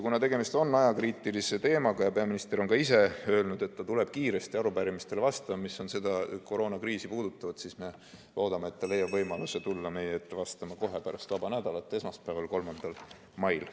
Kuna tegemist on ajakriitilise teemaga ja peaminister on ka ise öelnud, et ta tuleb kiiresti vastama arupärimistele, mis puudutavad koroonakriisi, siis me loodame, et ta leiab võimaluse tulla meie ette vastama kohe pärast vaba nädalat esmaspäeval, 3. mail.